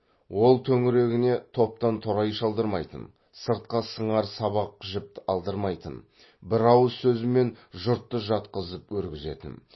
ол төңірегіне топтан торай шалдырмайтын сыртқа сыңар сабақ жіп алдырмайтын бір ауыз сөзімен жұртты жатқызып өргізетін